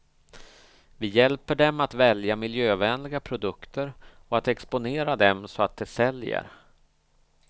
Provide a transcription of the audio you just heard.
Vi hjälper dem att välja miljövänliga produkter och att exponera dem så att de säljer.